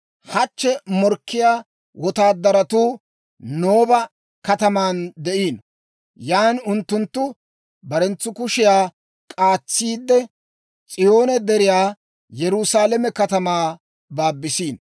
Hachche morkkiyaa wotaadaratuu Nooba kataman de'iino; yan unttunttu barenttu kushiyaa k'aatsiidde, S'iyoone Deriyaa, Yerusaalame katamaa baabisiino.